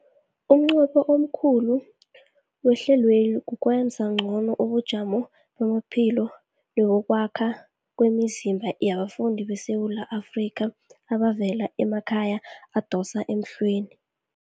Umnqopho omkhulu wehlelweli kukwenza ngcono ubujamo bamaphilo nebokwakhela kwemizimba yabafundi beSewula Afrika abavela emakhaya adosa emhlweni.